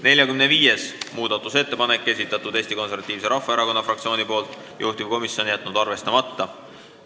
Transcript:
45. muudatusettepaneku on esitanud Eesti Konservatiivse Rahvaerakonna fraktsioon, juhtivkomisjon on jätnud arvestamata.